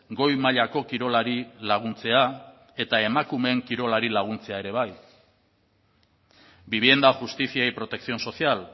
goi mailako kirolari laguntzea eta emakumeen kirolari laguntzea ere bai vivienda justicia y protección social